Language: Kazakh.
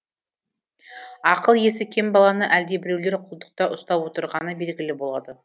ақыл есі кем баланы әлдебіреулер құлдықта ұстап отырғаны белгілі болады